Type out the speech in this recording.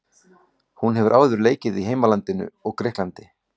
Hún hefur áður leikið í heimalandinu og Grikklandi.